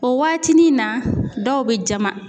O waatinin na dɔw bɛ jama.